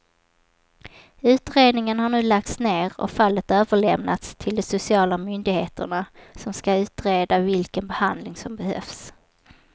Utredningen har nu lagts ner och fallet överlämnats till de sociala myndigheterna som ska utreda vilken behandling som behövs.